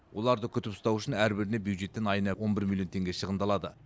оларды күтіп ұстау үшін әрбіріне бюджеттен айына он бір миллион теңге шығындалады